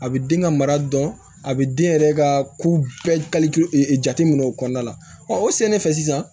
A bɛ den ka mara dɔn a bɛ den yɛrɛ ka ko bɛɛ jate minɛ o kɔnɔna la o sɛnɛfɛn sisan